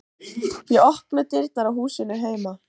Ég opna dyrnar á húsinu heima.